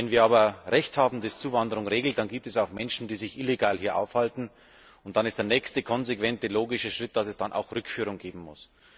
Wenn wir aber Recht haben, das Zuwanderung regelt, dann gibt es auch Menschen, die sich illegal hier aufhalten, und dann ist der nächste konsequente, logische Schritt, dass es dann auch Rückführung geben muss.